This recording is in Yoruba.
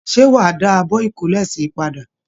Ṣé wa dà àbọ ikole si padà?